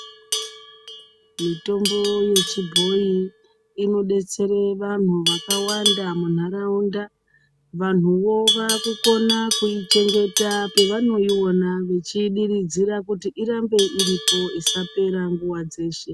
Mitombo yechibhoyi inodetsere vanhu vakawanda munharaunda vanhuo vaakukona kuichengeta pevanoiona vechiidiridzira kuti irambe iripo isapera nguwa dzeshe.